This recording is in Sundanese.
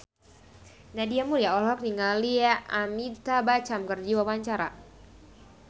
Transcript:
Nadia Mulya olohok ningali Amitabh Bachchan keur diwawancara